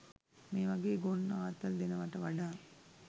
මේ වගේ ගොන් ආතල් දෙනවට වඩා